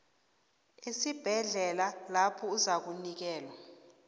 esibhedlela lapho uzakunikelwa